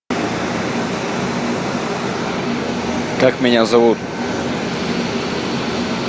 как меня зовут